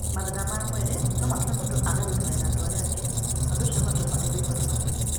Mathĩna ma mwĩrĩ no matũme mũndũ age gũikarania na andũ arĩa angĩ, na ũndũ ũcio ũgatũma aigue ihooru makĩria.